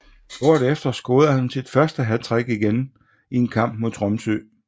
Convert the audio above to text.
Året efter scorede han sit første hattrick igen i en kmap mod Tromsø